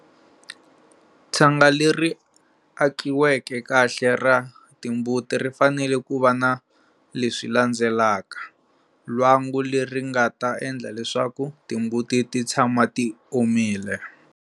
Tshanga leri akiveke kahle ra timbuti ri fanele ku va na leswi landzelaka-lwangu leri nga ta endla leswaku timbuti ti tshama ti omile.